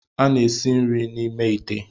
A na-esi nri n'ime ite.